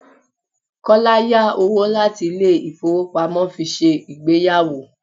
Kọ́lá yá owó láti ilé ifowopamo fi ṣe ìgbéyàwó.